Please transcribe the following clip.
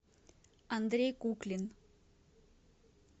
андрей куклин